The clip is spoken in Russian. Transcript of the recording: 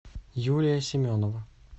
юлия семенова